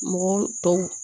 Mɔgɔw tɔw